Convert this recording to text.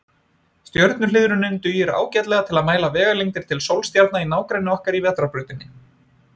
Stjörnuhliðrunin dugir ágætlega til að mæla vegalengdir til sólstjarna í nágrenni okkar í Vetrarbrautinni.